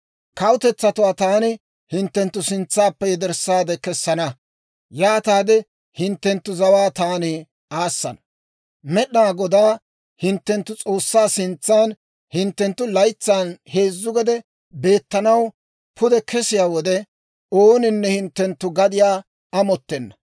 Kawutetsatuwaa taani hinttenttu sintsaappe yederssaade kessana; yaataade hinttenttu zawaa taani aassana. Med'inaa Godaa hinttenttu S'oossaa sintsaan hinttenttu laytsan heezzu gede beettanaw pude kesiyaa wode, ooninne hinttenttu gadiyaa amottenna.